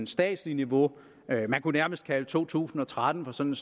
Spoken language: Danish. statslige niveau man kunne nærmest kalde to tusind og tretten for sådan